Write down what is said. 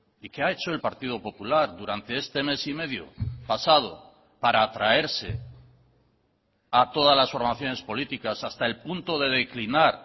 y qué ha hecho el partido popular durante este mes y medio pasado para atraerse a todas las formaciones políticas hasta el punto de declinar